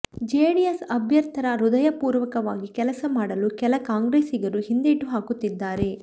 JDS ಅಭ್ಯಥರ್ಿ ಹೃದಯಪೂರ್ವಕವಾಗಿ ಕೆಲಸ ಮಾಡಲು ಕೆಲ ಕಾಂಗ್ರೆಸ್ಸಿಗರು ಹಿಂದೇಟು ಹಾಕುತ್ತಿದ್ದಾರೆ